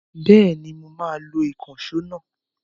Bẹ́ẹ̀ni mo máa lo ìkànṣó náà?